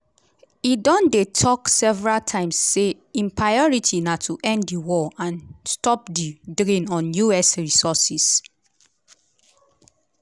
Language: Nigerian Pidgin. e don dey tok several times say im priority na to end di war and stop di drain on us resources.